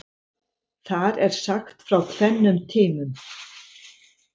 Þar er sagt frá tvennum tímum.